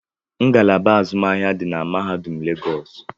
Ngalaba azụmahịa di na mahadum legosi